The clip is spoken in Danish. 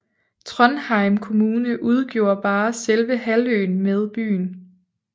Trondheim kommune udgjorde bare selve halvøen med byen